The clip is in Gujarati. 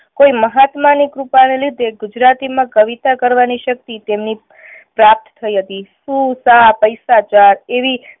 કોઈ મહાત્મા ની કૃપા ને લીધે ગુજરાતી માં કવિતા કરવાની શક્તિ તેમની પ્રાપ્ત થઈ હતી. શું શા પૈસા ચાર એવી